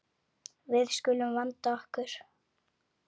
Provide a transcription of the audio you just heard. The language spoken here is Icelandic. Við skulum vanda okkur.